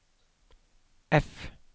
F